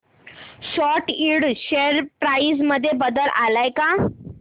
सॅट Ind share price मध्ये बदल आलाय का